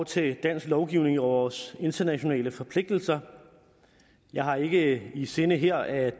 til dansk lovgivning og vores internationale forpligtelser jeg har ikke i sinde her at